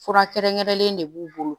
Fura kɛrɛnkɛrɛnlen de b'u bolo